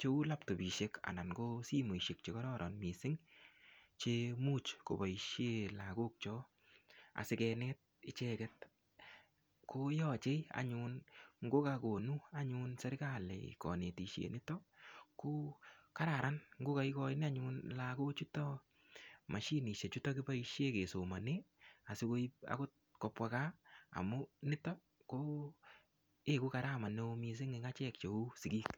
cheu laptopishek anan ko simoishek chekororon mising chemuch kopoishe lakok cho asikenet icheket koyochei anyun ngokakonu anyun serikali kanetishet nito ko kararan ngokaikoini anyun lakochoto mashinishek chuto kiboishe kesomone asikoip akot kopwa kaa amun nito ko eku garama neo mising' eng' achek cheu sikiik.